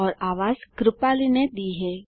और आवाजने दी है